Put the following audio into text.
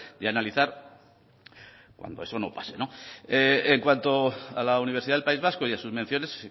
de analizar cuando eso no pase en cuanto a la universidad del país vasco y a sus menciones